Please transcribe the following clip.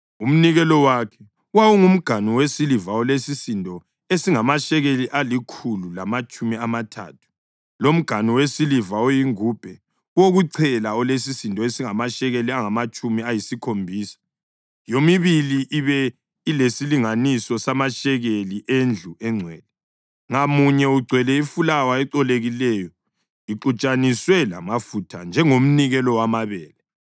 Umnikelo wakhe: wawungumganu wesiliva olesisindo esingamashekeli alikhulu lamatshumi amathathu, lomganu wesiliva oyingubhe wokuchela olesisindo esingamashekeli angamatshumi ayisikhombisa, yomibili ibe lesilinganiso samashekeli endlu engcwele, ngamunye ugcwele ifulawa ecolekileyo exutshaniswe lamafutha njengomnikelo wamabele;